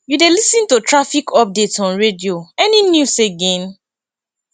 you dey lis ten to traffic updates on radio any news again